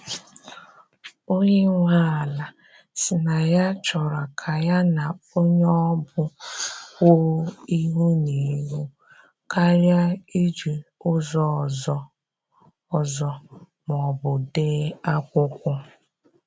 Onye nwe ala si na ya chọrọ ka ya na onye ọ bụ kwuo ihu na ihu karịa iji ụzọ ọzọ ọzọ ma ọbụ dee akwụkwọ.